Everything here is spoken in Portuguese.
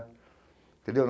Entendeu?